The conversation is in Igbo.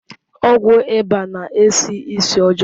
Ọgwụ ịba na-esi ísì ọjọọ.